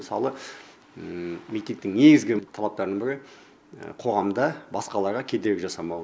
мысалы митингтің негізгі талаптарының і қоғамда басқаларға кедергі жасамау